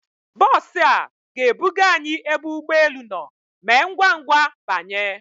Bọs a ga ebuga anyị ebe ụgbọ elu nọ, Mee ngwa ngwa banye!